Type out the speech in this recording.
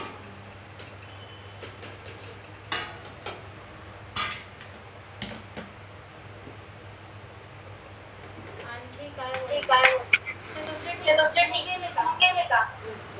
आनखी काय म्हनते तू केले का?